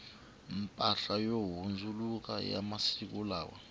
mpahla yo handzuka ya masiku lawa